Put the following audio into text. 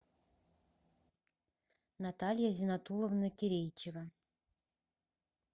наталья зиннатулловна кирейчева